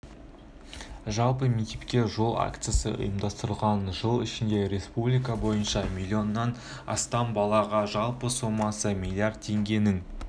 жалпы мектепке жол акциясы ұйымдастырылған жыл ішінде республика бойынша млн -нан астамбалаға жалпы сомасы млрд теңгенің